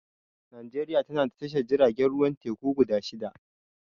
Nijeriya tana da tashar jirgin ruwan teku guda shida